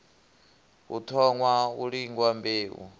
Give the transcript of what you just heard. hu thoṅwa u lingwa mbeu